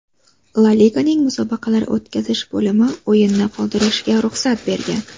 La Liganing musobaqalar o‘tkazish bo‘limi o‘yinni qoldirishga ruxsat bergan.